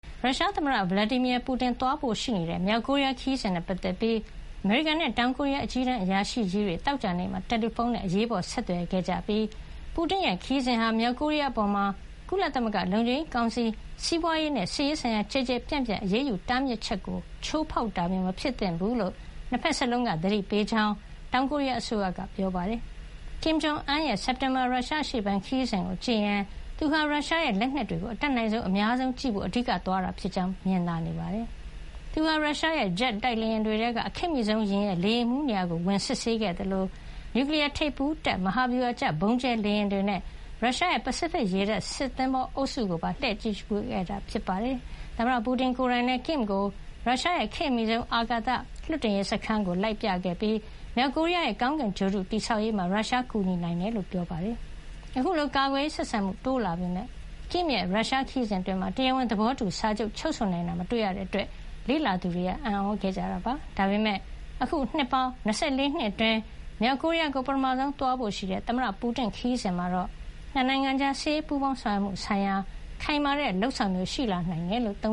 ရုရှားသမ္မတ Vladimir Putin "ဗလာဒီမီယာ ပူတင်" သွားရောက်ဖို့ရှိတဲ့ မြောက်ကိုရီးယားခရီးစဉ်နဲ့ပတ်သက်ပြီး အမေရိကန်နဲ့ တောင်ကိုရီးယား အကြီးတန်းအရာရှိကြီးတွေဟာ သောကြာနေ့မှာ တယ်လီဖုန်းနဲ့ အရေးပေါ်ဆက်သွယ်ပြောကြားခဲ့ကြပြီး ပူတင်ရဲ့ ခရီးစဉ်ဟာ မြောက်ကိုရီးယားအပေါ် ကုလသမဂ္ဂ လုံခြုံရေးကောင်စီရဲ့ စီးပွားရေးနဲ့ စစ်ရေးဆိုင်ရာ ကျယ်ကျယ်ပြန့်ပြန့် အရေးယူ တားမြစ်ထားချက်တွေကို ချိုးဖေါက်တာမျိုး မဖြစ်သင့်ဘူးလို့ နှစ်ဖက်စလုံးက သတိပေးလိုက်ကြောင်း တောင်ကိုရီးယားအစိုးရက ပြောပါတယ်။ မြောက်ကိုရီးယားခေါင်းဆောင် Kim Jong Un "ကင်မ်ဂျုံအွန်း"ရဲ့ စက်တင်ဘာ ရုရှားအရှေ့ပိုင်း ခရီးစဉ်ကို ကြည့်ရင် သူဟာ ရုရှားရဲ့လက်နက်တွေကို အတတ်နိုင်ဆုံး အများဆုံးကြည့်ရှုဖို့ အဓိက သွားရောက်တာဖြစ်ကြောင်း မြင်သာနေတာပါ။ ကင်မ်ဟာ ရုရှားရဲ့ ဂျက်တိုက်လေယာဉ်တွေထဲက ခေတ်အမီဆုံး ယာဉ်ရဲ့ လေယာဉ်မှူးနေရာကို ဝင်စစ်ဆေးခဲ့သလို နျူကလီယားထိပ်ဖူးတပ် မဟာဗျူဟာကျ ဗုံးကြဲလေယာဉ်တွေနဲ့ ရုရှားရဲ့ ပစိဖိတ်ရေတပ် စစ်သင်္ဘောအုပ်စုကိုပါ လှည့်လည် ကြည့်ရှုခဲ့တာ ဖြစ်ပါတယ်။ သမ္မတ ပူတင် ကိုယ်တိုင်လည်း ကင်မ် ကို ရုရှားရဲ့ခေတ်အမီဆုံး အာကာသယာဉ်လွှတ်တင်တဲ့ Vostochny Cosmo drome စခန်းကို လိုက်လံပြသခဲ့ပြီး မြောက်ကိုရီးယားရဲ့ ကောင်းကင်ဂြိုဟ်တု တည်ဆောက်ရေးမှာ ရုရှားက အကူညီပေးနိုင်ကြောင်း ပြောကြားခဲ့တာပါ။ အခုလို ကာကွယ်ရေးဆိုင်ရာ နှစ်နိုင်ငံဆက်ဆံမှု တိုးလာနေပေမယ့် ကင်မ်ရဲ့ ရုရှားခရီးစဉ်အတွင်း တရားဝင် သဘောတူစာချုပ် ချုပ်ဆိုမှုတစုံတရာ မတွေ့ရတဲ့အတွက် လေ့လာသူတွေ အံ့သြခဲ့ရတာ ဖြစ်ပါတယ်။ ဒါပေမဲ့ အခု နှစ်ပေါင်း ၂၄ နှစ်အတွင်း မြောက်ကိုရီးယားကို ပထမဆုံး သွားရောက်ဖို့ရှိတဲ့ သမ္မတ ပူတင်ရဲ့ ခရီးစဉ်မှာတော့ နှစ်နိုင်ငံကြား စစ်ရေးပူးပေါင်းဆောင်ရွက်မှုဆိုင်ရာ ခိုင်မာတဲ့ လုပ်ဆောင်မှုမျိုး ရှိလာနိုင်တယ်လို့ သ